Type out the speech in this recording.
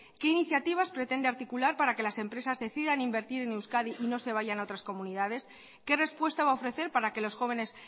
que iniciativas pretende articular para que las empresas decidan invertir en euskadi y no se vayan a otras comunidades qué respuesta va a ofrecer para que los jóvenes